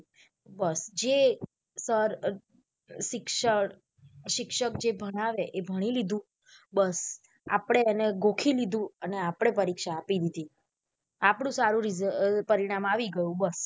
જે sir શિક્ષક જે ભણાવે એ ભણી લીધું બસ આપડે એને ગોખી લીધું અને આપડે પરીક્ષા આપી દીધી આપણું સારું પરિણામ આવી ગયું બસ.